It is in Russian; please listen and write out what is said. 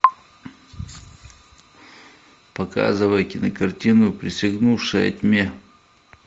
показывай кинокартину присягнувшая тьме